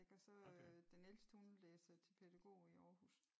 Og så øh den ældste hun læser til pædagog i Aarhus